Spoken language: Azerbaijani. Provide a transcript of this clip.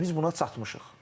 Və biz buna çatmışıq.